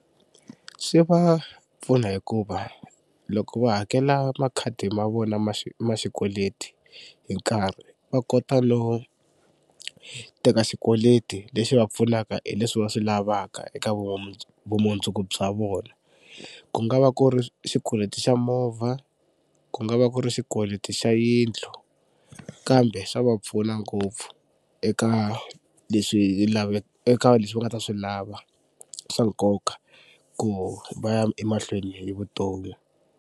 Swi va pfuna hikuva loko va hakela makhadi ma vona ma ma xikweleti hi nkarhi va kota no teka xikweleti lexi va pfunaka hi leswi va swi lavaka eka vumundzuku bya vona. Ku nga va ku ri xikweleti xa movha, ku nga va ku ri xikweleti xa yindlu kambe swa va pfuna ngopfu eka leswi eka leswi va nga ta swi lava swa nkoka ku va ya emahlweni hi vutomi.